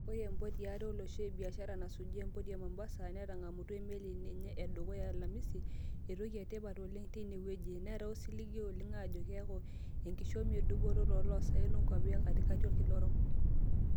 Oree empoti eare olosho e biashara nasuji empoti e Mombasa netangamutua emeli enye edukuya alamisi, etoki etipat oleng teine wejii, naata osiligi oleng ajoo keeku enkishomi edupoto toolosaen onkuapi ekatikati olkila orok.